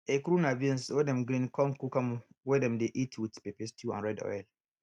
ekuru na beans wey dem grind con cook am wey dem dey eat with pepper stew and red oil